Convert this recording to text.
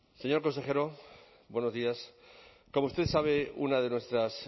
señor consejero buenos días como usted sabe una de nuestras